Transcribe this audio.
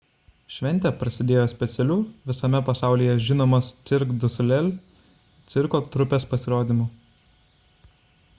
šventė prasidėjo specialiu visame pasaulyje žinomos cirque du soleil cirko trupės pasirodymu